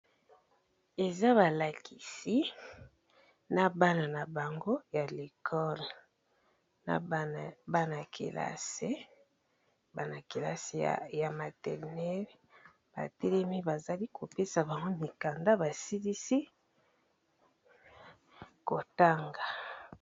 Eza ba lakisi na bana na bango ya l'ecole, na bana kelasi ya maternelle ba telemi bazali kopesa bango mikanda ba silisi kotanga.